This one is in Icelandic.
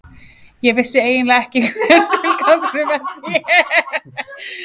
Ég vissi eiginlega ekki hver tilgangurinn með því er.